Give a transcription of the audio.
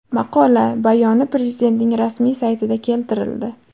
Maqola bayoni Prezidentning rasmiy saytida keltirildi .